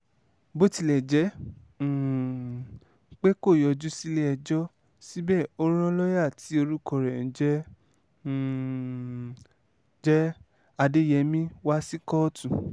bó tilẹ̀ jẹ́ um pé kò yọjú sílẹ̀-ẹjọ́ síbẹ̀ ó rán lọ́ọ̀yà tí orúkọ rẹ̀ ń um jẹ́ adéyẹmi wá sí kóòtù